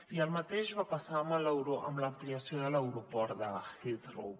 i el mateix va passar amb l’am·pliació de l’aeroport de heathrow